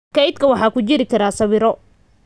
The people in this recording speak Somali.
Kaydka waxa ku jiri kara sawiro